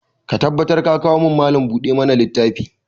Ka tabbatar ka kawo min Mallam buɗe ma na littafi!